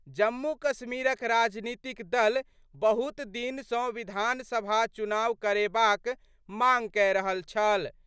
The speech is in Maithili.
जम्मू-कश्मीरक राजनीतिक दल बहुत दिन सं विधानसभा चुनाव करेबाक मांग कए रहल छल।